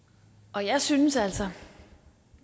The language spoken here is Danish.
og jeg synes altså